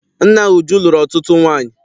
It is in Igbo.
Nna Uju lụrụ ọtụtụ nwaanyị.